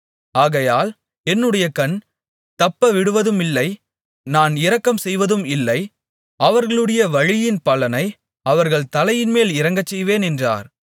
ஆகையால் என்னுடைய கண் தப்பவிடுவதுமில்லை நான் இரக்கம்செய்வதுமில்லை அவர்களுடைய வழியின் பலனை அவர்கள் தலையின்மேல் இறங்கச்செய்வேன் என்றார்